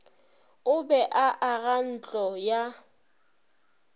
a be a agantlo ya